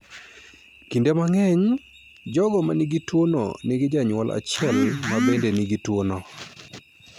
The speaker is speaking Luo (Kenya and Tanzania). Kinde mang'eny, jogo manigi tuo no nigi janyuol achiel ma bende nigi tuo no.